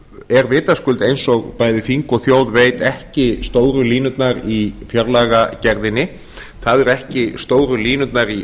er vitaskuld eins og bæði þing og þjóð veit ekki stóru línurnar í fjárlagagerðinni það eru ekki stóru línurnar í